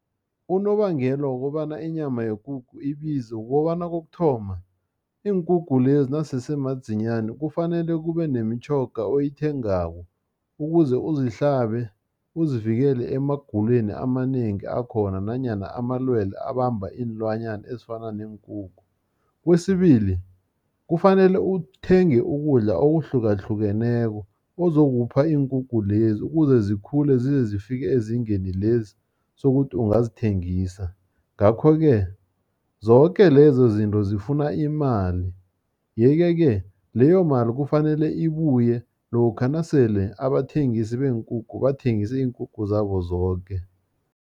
Unobangela wokobana inyama yekukhu ibize, kukobana kokuthoma, iinkukhu lezi nasese madzinyani, kufanele kubenemitjhoga oyithengako, ukuze uzihlabe uzivikele emagulweni amanengi akhona, nanyana amalwele abamba iinlwanyana ezifana neenkukhu. Kwesibili kufanele uthenge ukudla okuhlukahlukeneko, ozokupha iinkungu lezi, ukuze zikhule, zizezifike ezingeni lezi sokuthi ungazithengisa. Ngakho-ke, zoke lezo zinto zifuna imali, yeke-ke, leyo mali kufanele ibuye lokha nasele abathengisi beenkukhu bathengise iinkukhu zabo zoke.